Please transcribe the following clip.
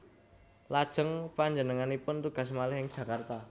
Lajeng panjenenganipun tugas malih ing Jakarta